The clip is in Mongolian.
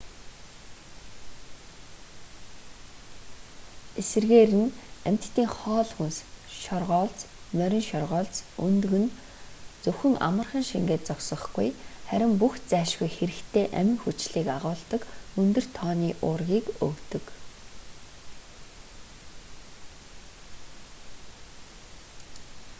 эсрэгээр нь амьтдын хоол хүнс шоргоолж морин шоргоолж өндөг нь зөвхөн амархан шингээд зогсохгүй харин бүх зайлшгүй хэрэгтэй амин хүчлийг агуулдаг өндөр тооны уургийг өгдөг